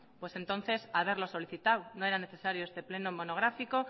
pues entonces haberlo solicitado no era necesario este pleno monográfico